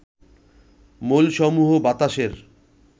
মৌলসমূহ বাতাসের